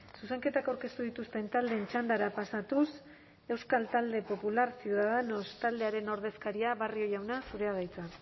zuzenketak aurkeztu dituzten taldeen txandara pasatuz euskal talde popular ciudadanos taldearen ordezkaria barrio jauna zurea da hitza